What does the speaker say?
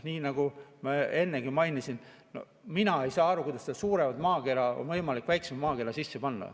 Nii nagu ma ennegi mainisin, mina ei saa aru, kuidas seda suuremat maakera on võimalik väiksema maakera sisse panna.